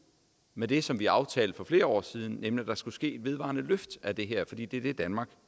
med det som vi aftalte for flere år siden nemlig at der skulle ske et vedvarende løft af det her fordi det er det danmarks